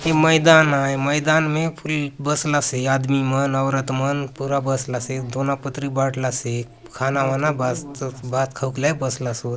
ये मैदान आय मैदान ने बसला से आदमी मन औरत मन पूरा बसला से दोना - पतरी बाटलासे खाना वाना भात खाऊक लाय बसला से।